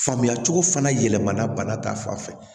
Faamuya cogo fana yɛlɛmana bana ta fan fɛ